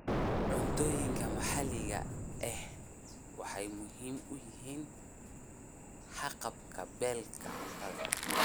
Cuntooyinka maxalliga ahi waxay muhiim u yihiin haqab-beelka cuntada.